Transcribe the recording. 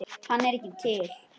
Hann er ekki til!